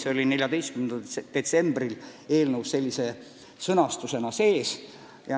See lõik oli 14. detsembril eelnõus sellise sõnastusega sees.